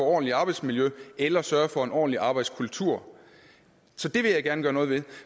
ordentligt arbejdsmiljø eller sørge for en ordentlig arbejdskultur så det vil jeg gerne gøre noget ved